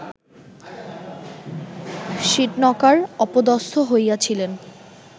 সীটনকার অপদস্থ হইয়াছিলেন